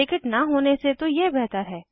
ticket न होने से तो यह बेहतर है